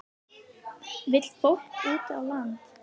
Vill fólk út á land